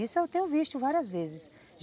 Isso eu tenho visto várias vezes.